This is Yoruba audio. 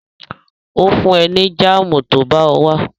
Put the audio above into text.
Ó fún ẹ ní jáàmù tó bá wá